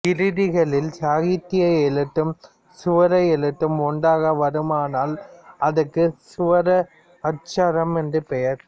கிருதிகளில் சாகித்திய எழுத்தும் ஸ்வர எழுத்தும் ஒன்றாக வருமானால் அதற்கு ஸ்வர அட்சரம் என்று பெயர்